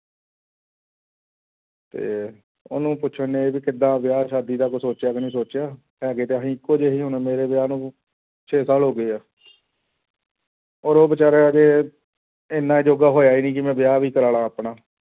ਤੇ ਉਹਨੂੰ ਪੁੱਛਣਡੇ ਵੀ ਕਿੱਦਾਂ ਵਿਆਹ ਸ਼ਾਦੀ ਦਾ ਕੁਛ ਸੋਚਿਆ ਕੇ ਨੀ ਸੋਚਿਆ, ਹੈਗੇ ਤਾਂ ਅਸੀਂ ਇੱਕੋ ਜਿਹੇ ਹੀ ਹੁਣ ਮੇਰੇ ਵਿਆਹ ਨੂੰ ਛੇ ਸਾਲ ਹੋ ਗਏ ਆ ਔਰ ਉਹ ਬੇਚਾਰਾ ਹਜੇ ਇੰਨਾ ਜੋਗਾ ਹੋਇਆ ਹੀ ਨੀ ਕਿ ਮੈਂ ਵਿਆਹ ਵੀ ਕਰਵਾ ਲਵਾਂ ਆਪਣਾ।